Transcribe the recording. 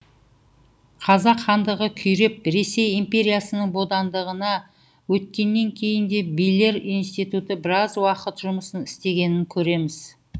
қазақ хандығы күйреп ресей империясының бодандығына өткеннен кейін де билер институты біраз уақыт жұмыс істегенін көреміз